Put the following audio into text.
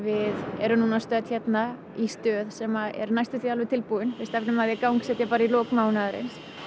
erum núna stödd hérna í stöð sem er næstum því alveg tilbúin við stefnum að því að gangsetja í lok mánaðarins